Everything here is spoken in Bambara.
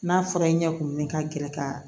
N'a fɔra i ɲɛ kumunnen ka gɛrɛ ka